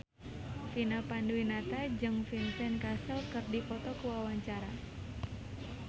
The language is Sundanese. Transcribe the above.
Vina Panduwinata jeung Vincent Cassel keur dipoto ku wartawan